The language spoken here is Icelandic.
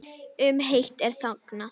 Um hitt er þagað.